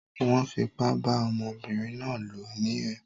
Wón fipá bá ọmọbínrin náà lò ní o